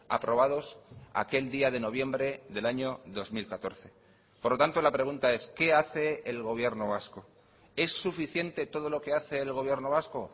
aprobados aquel día de noviembre del año dos mil catorce por lo tanto la pregunta es qué hace el gobierno vasco es suficiente todo lo que hace el gobierno vasco